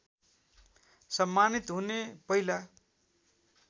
सम्मानित हुने पहिला